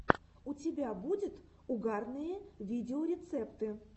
у тебя будет угарные видеорецепты